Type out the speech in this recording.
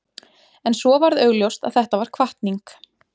En svo varð augljóst að þetta var hvatning.